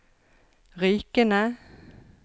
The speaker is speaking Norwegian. Rykene